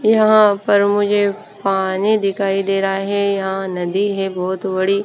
यहां पर मुझे पानी दिखाई दे रहा है यहां नदी है बहोत बड़ी।